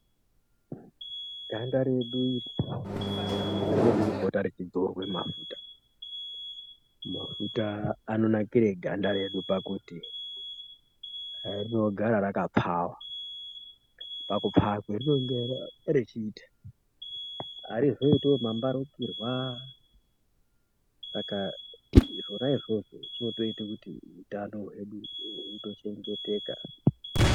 Ganda redu iri rinoda kupota rechidzorwa mafuta. Mafuta anonakira ganda redu pakuti rinogara rakapfaa. Pakupfaa kwarinenge rechiita harizoitiwo mambarukirwa. Saka zvona izvozvo zvinotoita kuti utano hwedu hunochengeteka.